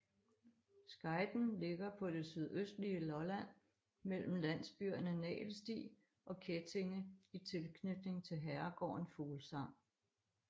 Skejten ligger på det sydøstlige Lolland mellem landsbyerne Nagelsti og Kettinge i tilknytning til herregården Fuglsang